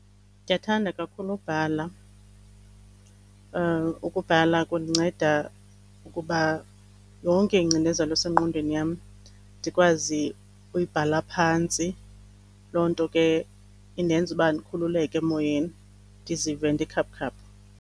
Ndiyathanda kakhulu ubhala, ukubhala kundinceda ukuba yonke ingcinezelo esengqondweni yam ndikwazi uyibhala phantsi. Loo nto ke indenza uba ndikhululeke emoyeni ndizive ndikhaphukhaphu.